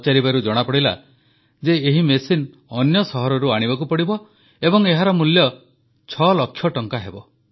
ପଚାରିବାରୁ ଜଣାପଡ଼ିଲା ଯେ ଏହି ମେସିନ୍ ଅନ୍ୟ ସହରରୁ ଆଣିବାକୁ ପଡ଼ିବ ଏବଂ ଏହାର ମୂଲ୍ୟ 6 ଲକ୍ଷ ଟଙ୍କା ହେବ